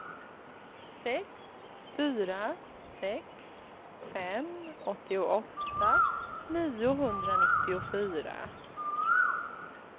sex fyra sex fem åttioåtta niohundranittiofyra